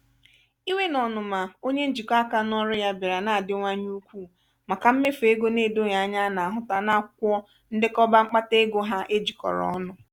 iwe na ọnụma onye njikọ aka n'ọrụ ya bịara na-adiwanye ukwuu maka mmefu ego na-edoghị anya na-ahụta n'akwụkwọ ndekọba mkpata ego ha ejikọrọ ọnụ.